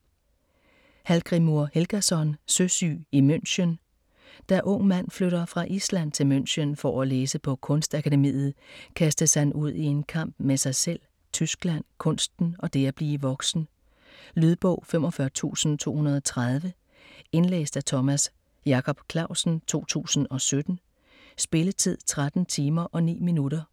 Hallgrímur Helgason: Søsyg i München Da Ung Mand flytter fra Island til München for at læse på Kunstakademiet, kastes han ud i en kamp med sig selv, Tyskland, kunsten og det at blive voksen. Lydbog 45230 Indlæst af Thomas Jacob Clausen, 2017. Spilletid: 13 timer, 9 minutter.